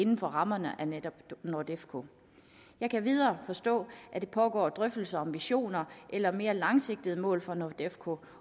inden for rammen af netop nordefco jeg kan endvidere forstå at der pågår drøftelser om visioner eller mere langsigtede mål for nordefco